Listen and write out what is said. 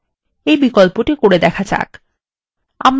এই বিকল্পটি চেষ্টা করা যাক